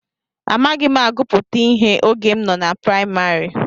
Amaghị m agụpụta ihe oge m nọ na praịmarị.